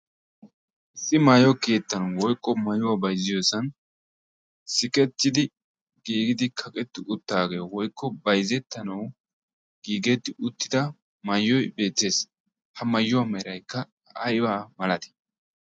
issi maayo keettan woykko maayuwaa bayzziyoosan sikettidi giigidi kaqetti uttaagee woykko bayzettanawu giigeetti uttida maayyoy beettees ha maayyuwaa meeraykka aybaa malatii